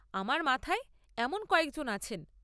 আমার মাথায় এমন কয়েকজন আছেন।